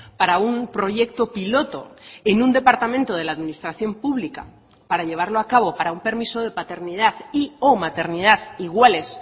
para un proyecto piloto en un departamento de la administración pública para llevarlo a cabo para un permiso de paternidad y o maternidad iguales